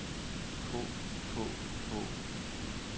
på på på